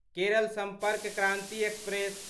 Kerala Sampark Kranti express